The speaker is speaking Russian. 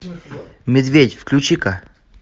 медведь включи ка